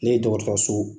Ne ye dɔgɔtɔrɔso